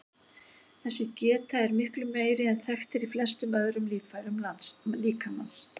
Þessi geta er miklu meiri en þekkt er í flestum öðrum líffærum líkamans.